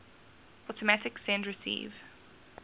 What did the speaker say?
automatic send receive